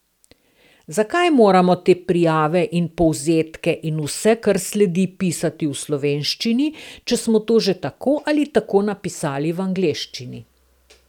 Zakaj moramo te prijave in povzetke in vse, kar sledi, pisati v slovenščini, če smo to že tako ali tako napisali v angleščini.